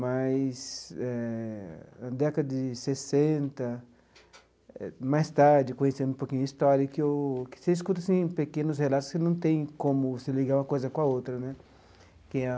Mas eh, na década de sessenta, mais tarde, conhecendo um pouquinho a história que eu que você escuta assim pequenos relatos que não tem como você ligar uma coisa com a outra né que é a.